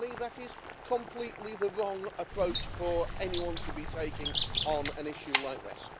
To me, that is completely the wrong approach for anyone to be taking on an issue like this.